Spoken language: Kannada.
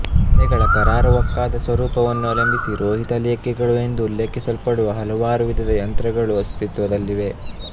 ಅಲೆಗಳ ಕರಾರುವಾಕ್ಕಾದ ಸ್ವರೂಪವನ್ನು ಅವಲಂಬಿಸಿ ರೋಹಿತ ಲೇಖಿಗಳು ಎಂದು ಉಲ್ಲೇಖಿಸಲ್ಪಡುವ ಹಲವಾರು ವಿಧದ ಯಂತ್ರಗಳು ಅಸ್ತಿತ್ವದಲ್ಲಿವೆ